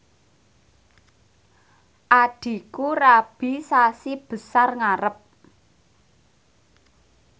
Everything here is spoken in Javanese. adhiku rabi sasi Besar ngarep